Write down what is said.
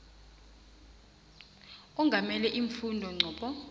ongamele iimfunda ncop